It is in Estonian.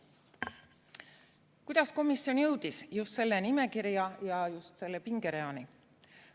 Kuidas komisjon jõudis just selle nimekirja ja selle pingereani?